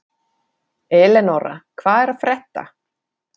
Eleonora, hvað er að frétta?